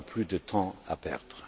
Nous n'avons plus de temps à perdre.